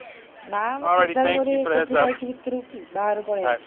ନା ମ, କେଦାରଗୌରୀ, କୋଉଠି ଯାଇଛି ଭିତରକୁ କି, ବାହାରୁ ପଳେଇ ଆସିଛି।